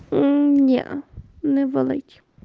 м неа не волить